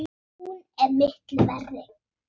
Hún er miklu verri!